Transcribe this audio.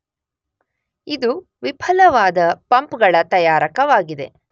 ಇದು ವಿಫಲವಾದ ಪಂಪ್ ಗಳ ತಯಾರಕವಾಗಿದೆ.